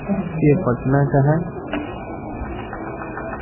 के पटना का है।